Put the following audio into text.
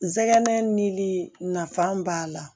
Nsɛgɛn nili nafa b'a la